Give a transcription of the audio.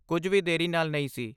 ਕੁਝ ਵੀ ਦੇਰੀ ਨਾਲ ਨਹੀਂ ਸੀ।